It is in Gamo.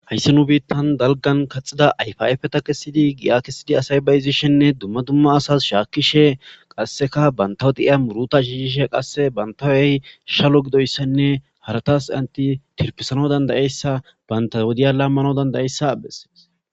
Hayssi nu biittan dalgan kaxida ayfaafeta kesidi gi'a kesidi asay bayizishenne dumma dumma asas shaakishe qasseka bantawedi'iya muruta shiishishe qasse bantawey shalo gidoyssanne haratas anti tirpisano dandayeyssa banta wodiya lammano dandayeyssa abes